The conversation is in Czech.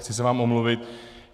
Chci se vám omluvit.